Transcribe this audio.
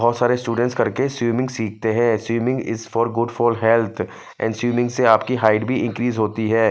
और सारे स्टूडेंट करके स्वीमिंग सीखते है swimming is for good for health और स्वीमिंग से आपकी हाईट भी इनक्रीस होती है।